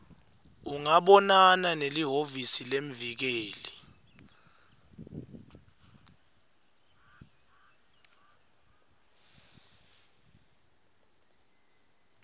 ungabonana nelihhovisi lemvikeli